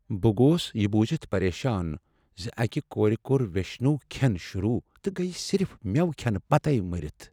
بہٕ گوس یہٕ بوٗزِتھ پریشان ز اکہ کورِ کوٚر ویشنو كھین شروع تہٕ گٔیہ صرف مٮ۪وٕ کھینہٕ پتہٕ مٔرتھ ۔